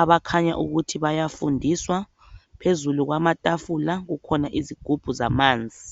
abakhanya ukuthi bayafundiswa phezulu kwamatafula kukhona izigubhu zamanzi